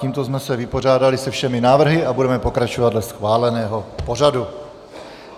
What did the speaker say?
Tímto jsme se vypořádali se všemi návrhy a budeme pokračovat dle schváleného pořadu.